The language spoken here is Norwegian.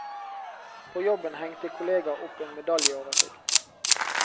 På jobben hengte kolleger opp en medaljeoversikt.